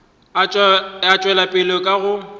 a tšwela pele ka go